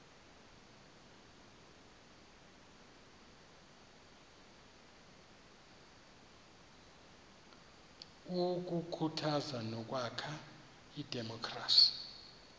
ukukhuthaza nokwakha idemokhrasi